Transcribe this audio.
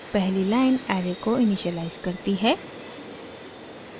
पहली line array को initialize करती है